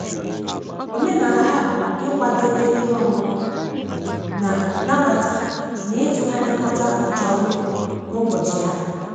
Omenala ha bụ ịkwadebe ihe ọṅụṅụ na-nabata na ịtụgharị kota uche ọnụ n'ụbọchị ahụ